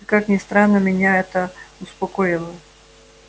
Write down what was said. и как ни странно меня это успокоило